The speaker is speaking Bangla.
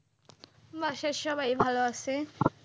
বাসার সবাই ভালো আছে।